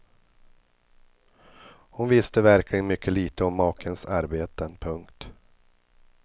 Hon visste verkligen mycket lite om makens arbeten. punkt